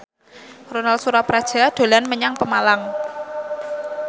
Ronal Surapradja dolan menyang Pemalang